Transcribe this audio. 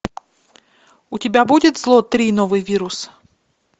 у тебя будет зло три новый вирус